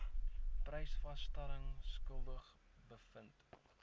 prysvasstelling skuldig bevind